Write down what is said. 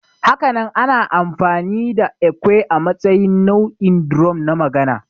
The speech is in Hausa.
Hakanan ana amfani da ekwe a matsayin nau'in drum na magana